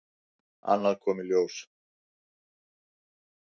Annað kom í ljós.